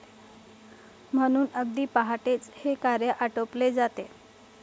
म्हणून अगदी पहाटेच हे कार्य आटोपले जाते.